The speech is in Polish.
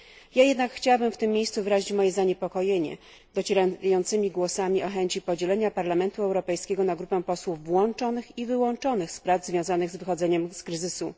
Ja jednak chciałabym w tym miejscu wyrazić moje zaniepokojenie docierającymi głosami o chęci podzielenia Parlamentu Europejskiego na grupę posłów włączonych i wyłączonych z prac związanych z wychodzeniem z kryzysu.